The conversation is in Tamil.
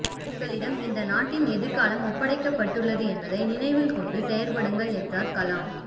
உங்களிடம் இந்த நாட்டின் எதிர்காலம் ஒப்படைக்கப்பட்டுள்ளது என்பதை நினைவில் கொண்டு செயற்படுங்கள் என்றார் கலாம்